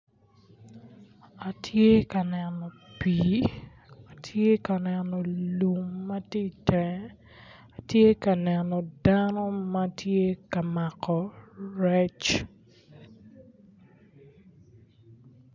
Atye ka neno pii, atye ka neno lum ma tye itenge, atye ka neno dano ma tye ka mako rec.